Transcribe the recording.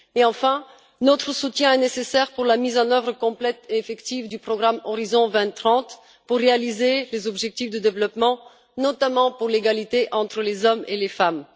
Enfin, notre soutien est nécessaire pour la mise en œuvre complète et effective du programme Horizon 2030 pour réaliser les objectifs de développement, notamment pour l'égalité entre les hommes et les femmes.